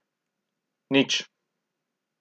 Nič.